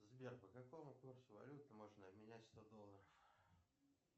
сбер по какому курсу валют можно обменять сто долларов